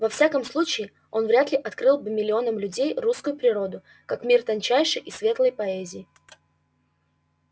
во всяком случае он вряд ли открыл бы миллионам людей русскую природу как мир тончайшей и светлой поэзии